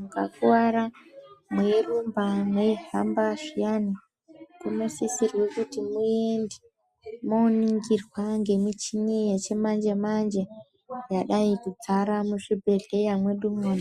Mukakuwara neirumba neihambazviyani munosisira kuti muende moningirwa nemuchini wechimanje manje yadai kudzara muzvibhehleya